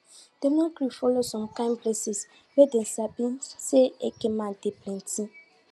dem no gree follow som kin places wey dem sabi say eke men dey plenty